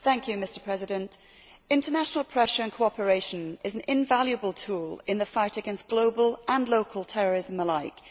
Mr President, international pressure and cooperation is an invaluable tool in the fight against global and local terrorism alike.